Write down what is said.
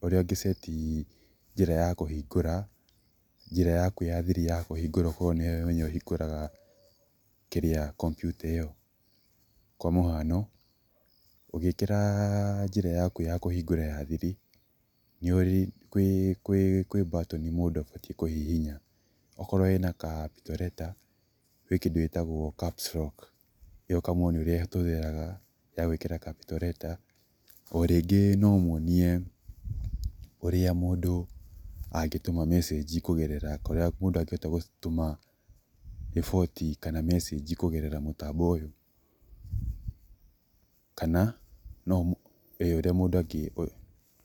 ũrĩa ũngĩceti, njĩra ya kũhingũra, njĩra yaku ya thiri ya kũhingũra, nĩyo yenyewe ĩhingũraga kĩrĩa kompiuta ĩyo. Kwa mũhano ũgĩkĩra njĩra yaku ya kũhingũra thiri, kwĩ button mũndũ abatie kũhihinya, okorwo ĩna capital letter gwĩ kĩndũ gĩtagwo caps lock, ĩyo ũkamwonia ũrĩa tũhũthagĩra ya gwĩkĩra capital letter, o rĩngĩ no ũmwonie ũrĩa mũndũ angĩtũma mecĩnji kũgerera kũrĩa mũndũ angĩhota gũtũma riboti kana mecĩnji kũgerera mũtambo ũyũ, kana ũrĩa mũndũ angĩ…